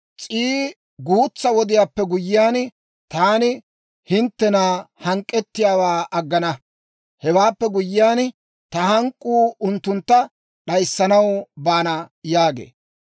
S'ii guutsaa wodiyaappe guyyiyaan, taani hinttena hank'k'ettiyaawaa aggana; hewaappe guyyiyaan, ta hank'k'uu unttuntta d'ayissanaw baana» yaagee.